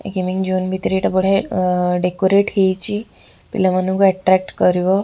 ଏଇ gaming zone ଭିତରେ ଏଇଟା ବଢ଼ିଆ ଅ ଡେକୋରେଟ୍ ହେଇଛି ପିଲା ମାନଙ୍କୁ ଏଟ୍ରାକ୍ଟ କରିବ।